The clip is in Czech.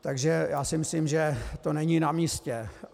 Takže já si myslím, že to není na místě.